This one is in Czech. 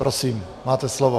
Prosím, máte slovo.